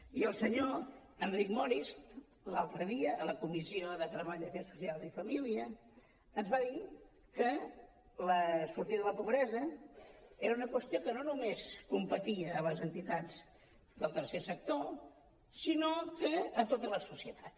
i el senyor enric morist l’altre dia a la comissió de treball afers socials i famílies ens va dir que la sortida de la pobresa era una qüestió que no només competia a les entitats del tercer sector sinó a tota la societat